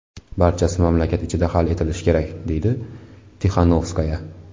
Barchasi mamlakat ichida hal etilishi kerak”, deydi Tixanovskaya.